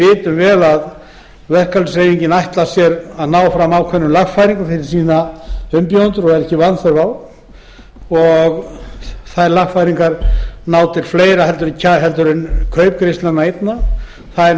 við vitum vel að verkalýðshreyfingin ætlar sér að ná fram ákveðnum lagfæringum fyrir umbjóðendur sína og er ekki vanþörf á lagfæringarnar ná til annars en kaupgreiðslnanna einna þær